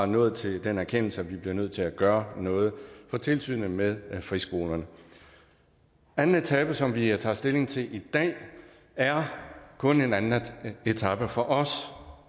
nået til den erkendelse at vi er nødt til at gøre noget for tilsynet med friskolerne anden etape som vi tager stilling til i dag er kun en anden etape og for os